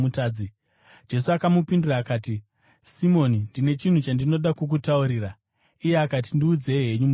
Jesu akamupindura akati, “Simoni, ndine chinhu chandinoda kukutaurira.” Iye akati, “Ndiudzei henyu mudzidzisi.”